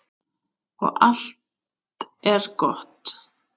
Og allt er gott.